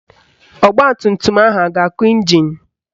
Ọgbatumtum ahụ a ga-akụ ịnjin?